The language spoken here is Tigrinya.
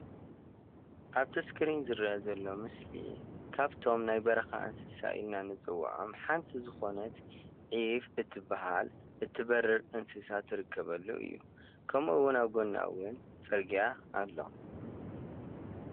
አብቲ እስክሪን ዝረአ ዘሎ ምስሊ ካብቶም ናይ በረካ እንስሳ ኢልና ንፅወዖም ሓንቲ ዝኮነት ዒፍ እትበሃል እትበርር እንስሳ ትርከበሉ እዩ። ከምኡ እውን አብ ጎና እውን ፅርግያ አሎ።